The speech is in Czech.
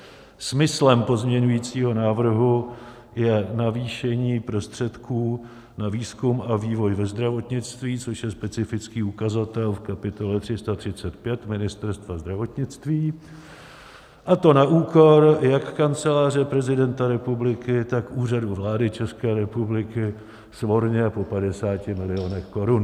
Smyslem pozměňovacího návrhu je navýšení prostředků na výzkum a vývoj ve zdravotnictví, což je specifický ukazatel v kapitole 335 Ministerstva zdravotnictví, a to na úkor jak Kanceláře prezidenta republiky, tak Úřadu vlády České republiky, svorně po 50 milionech korun.